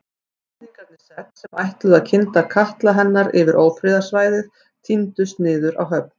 Íslendingarnir sex, sem ætluðu að kynda katla hennar yfir ófriðarsvæðið tíndust niður á höfn.